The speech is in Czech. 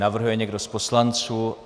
Navrhuje někdo z poslanců?